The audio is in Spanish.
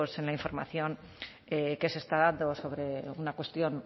pues en la información que se está dando sobre una cuestión